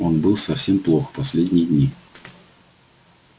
он был совсем плох последние дни